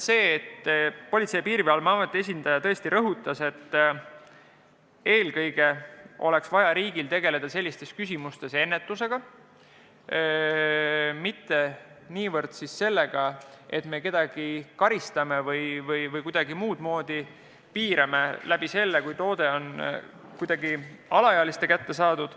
Politsei- ja Piirivalveameti esindaja rõhutas, et eelkõige oleks vaja riigil tegeleda selles küsimuses ennetusega, mitte niivõrd sellega, et me kedagi karistame, kui toode on kuidagi alaealiste kätte sattunud.